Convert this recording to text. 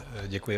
Děkuji.